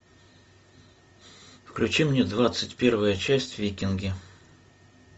включи мне двадцать первая часть викинги